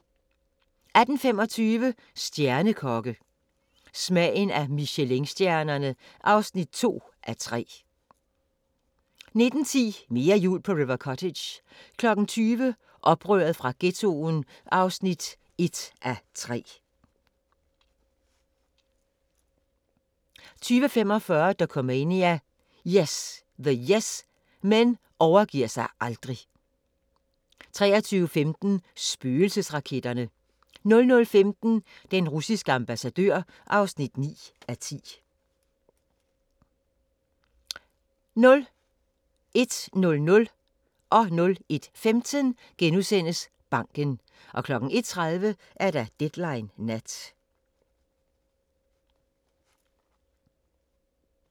18:25: Stjernekokke – Smagen af Michelinstjernerne (2:3) 19:10: Mere jul på River Cottage 20:00: Oprør fra Ghettoen (1:3) 20:45: Dokumania: The Yes Men overgiver sig aldrig 23:15: Spøgelsesraketterne 00:15: Den russiske ambassadør (9:10) 01:00: Banken * 01:15: Banken * 01:30: Deadline Nat